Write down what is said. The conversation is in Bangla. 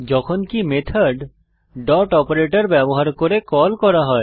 যখনকি মেথড ডট অপারেটর ব্যবহার করে কল করা হয়